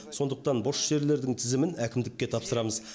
сондықтан бос жерлердің тізімін әкімдікке тапсырамыз